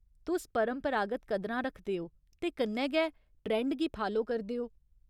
तुस परंपरागत कदरां रखदे ओ ते कन्नै गै ट्रेंड गी फालो करदे ओ।